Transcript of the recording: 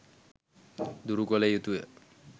දුරු කළ යුතුය.